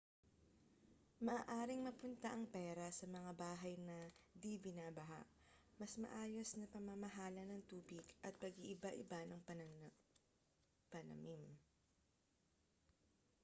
maaaring mapunta ang pera sa mga bahay na di-binabaha mas maayos na pamamahala ng tubig at pag-iiba-iba ng panamim